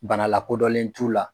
Bana lakodɔnlen t'u la.